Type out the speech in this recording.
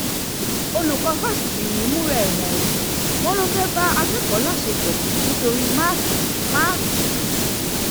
olùkọ́ fásitì yìí ń múra ẹ̀wọ̀n o wọ́n lọ um fẹ́ẹ́ bá akẹ́kọ̀ọ́ ẹ láṣepọ̀ nítorí máàkì um máàkì um